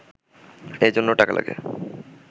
এজন্য টাকা লাগে